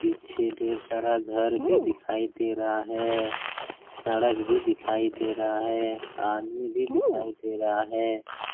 पीछे ढेर सारा घर भी दिखाई दे रहा है। सड़क भी दिखाई दे रहा है। आदमी भी दिखाई दे रहा है।